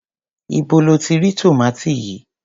Íbo lo ti rí tòmátì yìí?